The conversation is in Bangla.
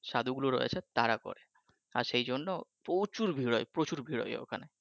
সাধু গুলো রয়েছে তারা করে আর সেই জন্য প্রচুর ভীড় হয় প্রচুর ভীড় হয় ওখানে